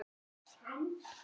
Skólinn hans var góður.